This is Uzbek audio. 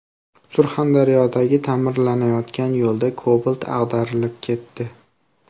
Surxondaryodagi ta’mirlanayotgan yo‘lda Cobalt ag‘darilib ketdi.